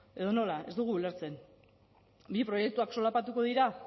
edo nola ez dugu ulertzen bi proiektuak solapatuko dira